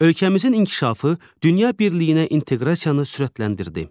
Ölkəmizin inkişafı dünya birliyinə inteqrasiyanı sürətləndirdi.